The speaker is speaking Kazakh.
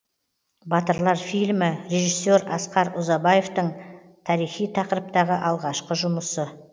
батырлар фильмі режиссер асқар ұзабаевтың тарихи тақырыптағы алғашқы жұмысы